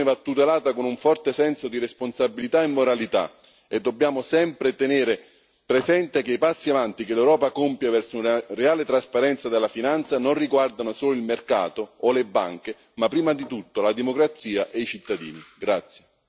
La libertà di informazione va tutelata con un forte senso di responsabilità e moralità, e dobbiamo sempre tenere presente che i passi in avanti che l'Europa compie verso una reale trasparenza della finanza non riguardano solo il mercato o le banche, ma prima di tutto la democrazia e i cittadini.